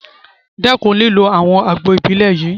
Dẹ́kun lílo àwọn àgbo Ìbílẹ̀ yìí!